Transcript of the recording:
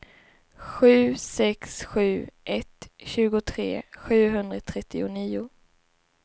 sju sex sju ett tjugotre sjuhundratrettionio